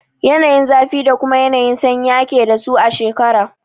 Yanayin zafi da kuma yanayin sanyi ake dasu a shekara.